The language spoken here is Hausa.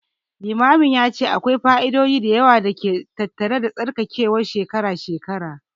Limamin ya ce akwai fa'idodi da yawa da ke tattare da tsarkakewar shekara-shekara.